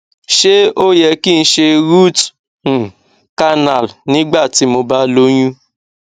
ṣé ó yẹ kí n se root um canal nígbà tí mo ba loyún